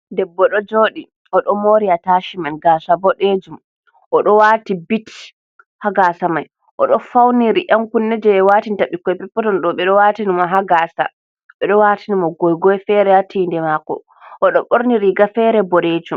Debbo ɗo jooɗi, o ɗo moori ataashimen gaasa boɗeejum, o ɗo waati bit haa gaasa mai, o ɗo fawniri ɗankunne jey watinta ɓikkoy petpeton ɗo, ɓe ɗo waatini haa gaasa, ɓe ɗo waatani mo goygoy feere haa tiinde maako o ɗo ɓorni riiga feere boɗeejum.